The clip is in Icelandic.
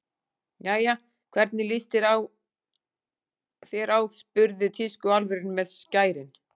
Jæja, hvernig líst þér á spurði tískuálfurinn með skærin.